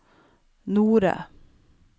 Nore